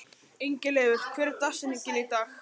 Ingileifur, hver er dagsetningin í dag?